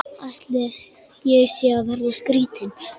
Ætli ég sé að verða skrýtin.